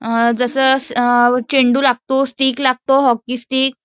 जसं चेंडू लागतो, स्टिक लागतो, हॉकीस्टिक